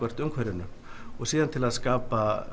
umhverfinu til að skapa